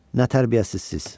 Nətər gəlirsiz?